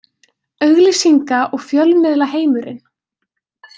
Auglýsinga- og fjölmiðlaheimurinn.